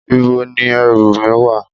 Ìbo ni èrú mí wà?